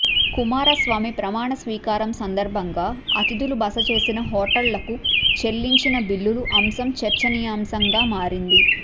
కుమారస్వామి ప్రమాణస్వీకారం సందర్భంగా అతిథులు బస చేసిన హోటళ్లకు చెల్లించిన బిల్లుల అంశం చర్చనీయాంశంగా మారింది